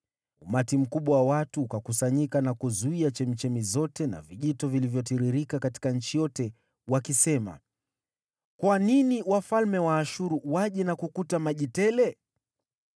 Umati mkubwa wa watu ukakusanyika na kuzuia chemchemi zote na vijito vilivyotiririka katika nchi yote, wakisema: “Kwa nini wafalme wa Ashuru waje na kukuta maji tele?”